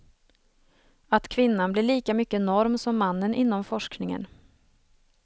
Att kvinnan blir lika mycket norm som mannen inom forskningen.